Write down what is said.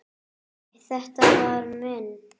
Nei, þetta var minn